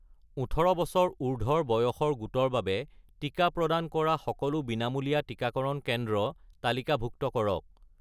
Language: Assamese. ১৮ বছৰ উৰ্ধ্বৰ বয়সৰ গোটৰ বাবে টিকা প্ৰদান কৰা সকলো বিনামূলীয়া টিকাকৰণ কেন্দ্ৰ তালিকাভুক্ত কৰক